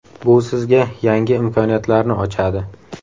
Bu sizga yangi imkoniyatlarni ochadi.